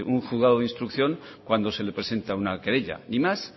un juzgado de instrucción cuando se le presenta una querella ni más